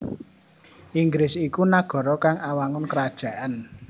Inggris iku nagara kang awangun krajaan